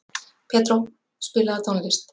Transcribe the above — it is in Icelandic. Pedró, spilaðu tónlist.